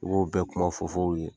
U b'o bɛɛ kunfofo